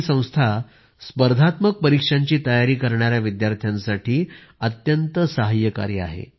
ही संस्था स्पर्धात्मक परिक्षांची तयारी करणाऱ्या विद्यार्थ्यांसाठी अत्यंत सहाय्यकारी आहे